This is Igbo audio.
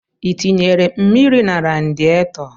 I tinyere mmiri na radietọ?